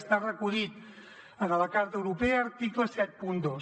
està recollit en la carta europea article setanta dos